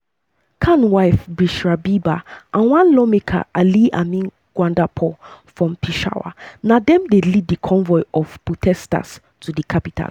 khan um wife bushra bibi and one lawmaker ali amin gandapur from peshawar na dem dey lead di convoy of protesters to di capital.